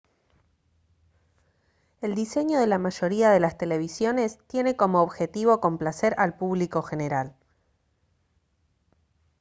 el diseño de la mayoría de las televisiones tiene como objetivo complacer al público general